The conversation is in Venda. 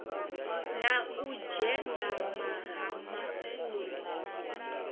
na u dzengama ha mafulo